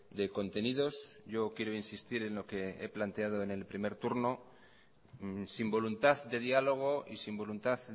de contenidos yo quiero insistir en lo que he planteado en el primer turno sin voluntad de diálogo y sin voluntad